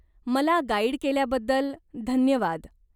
मला गाईड केल्याबद्दल धन्यवाद.